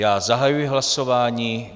Já zahajuji hlasování.